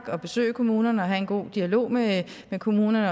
og besøge kommunerne og have en god dialog med kommunerne